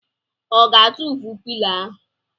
Ọ ga-atụfu pilo ahụ?